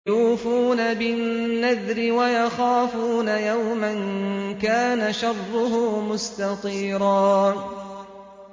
يُوفُونَ بِالنَّذْرِ وَيَخَافُونَ يَوْمًا كَانَ شَرُّهُ مُسْتَطِيرًا